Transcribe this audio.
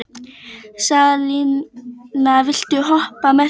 Salín, viltu hoppa með mér?